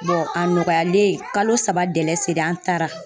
a nɔgɔyalen kalo saba selen an taara.